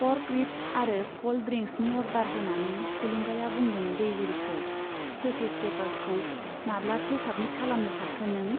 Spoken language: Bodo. पर्क रिब्स आरो कल्ड ड्रिंक्सनि अर्डार होनानै थुलुंगाया बुंदों दैजिरिखौ, थेसिस पेपार्सखौ माब्लाथो साबमिट खालामनो सानखो नों ?